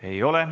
Ei ole.